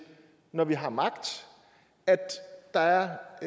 når vi har magt at der